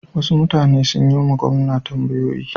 Wasu mutane sun yi wa gwamna tambayoyi.